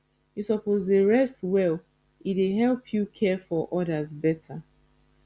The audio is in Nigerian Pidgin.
you suppose dey rest well e dey help you care for odas beta